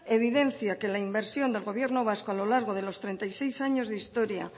evidencia que la inversión del gobierno vasco a lo largo de los treinta y seis años de historia